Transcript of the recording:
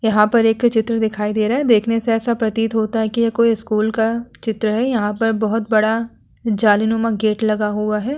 यहां पर एक चित्र दिखाई दे रहा है। देखने से ऐसा प्रतीत होता है कि ये कोई स्कूल का चित्र है। यहां पर बहोत बड़ा जालीनुमा गेट लगा हुआ है।